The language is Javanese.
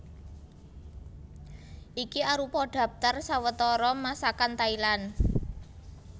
Iki arupa dhaptar sawetara Masakan Thailand